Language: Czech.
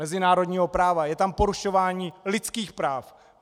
Mezinárodního práva, je tam porušování lidských práv!